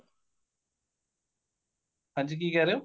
ਹਾਂਜੀ ਕੀ ਕਹਿ ਰਹੇ ਓ